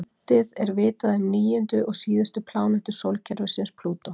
Lítið er vitað um níundu og síðustu plánetu sólkerfisins, Plútó.